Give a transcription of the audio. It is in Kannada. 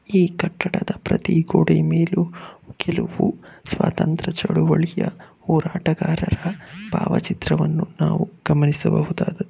ಈ ಕಟ್ಟಡದ ಪ್ರತಿ ಗೋಡೆ ಮೇಲು ಕೆಲವು ಸ್ವಾತಂತ್ರ್ಯ ಚಳುವಳಿಯ ಹೋರಾಟಗಾರರ ಭಾವಚಿತ್ರವನ್ನು ನಾವು ಗಮನಿಸಬಹುದಾದದ್ದು.